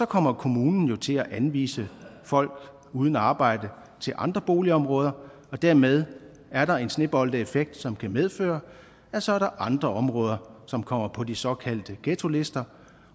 kommer kommunen jo til at anvise folk uden arbejde til andre boligområder og dermed er der en sneboldeffekt som kan medføre at så er der andre områder som kommer på de såkaldte ghettolister